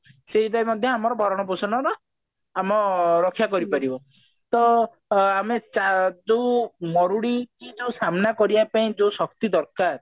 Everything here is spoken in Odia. ସେଇଟା ବି ମଧ୍ୟ ଆମ ଭରଣ ପୋଷଣର ଅ ରକ୍ଷା କରିପାରିବ ତ ଅ ଆମେ ଚା ଯୋଉ ମରୁଡି କି ଯୋଉ ସାମ୍ନା କଇରବ ପାଇଁ ଯୋଉ ଶକ୍ତି ଦରକାର